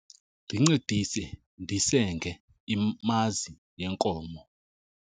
Ndincedise ndisenge imazi yenkomo.